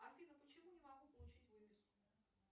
афина почему не могу получить выписку